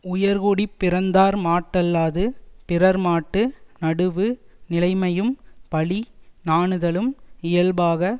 உயர்குடிப்பிறந்தார்மாட்டல்லது பிறர்மாட்டு நடுவு நிலைமையும் பழி நாணுதலும் இயல்பாக